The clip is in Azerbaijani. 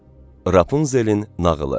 Rapunzelin nağılı.